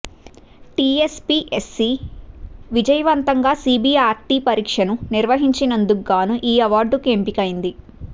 TSPSC విజయవంతంగా CBRT పరీక్షను నిర్వహించినందుకు గాను ఈ అవార్డుకు ఎంపికైంది